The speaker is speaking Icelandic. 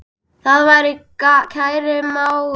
Far vel, kæri mágur.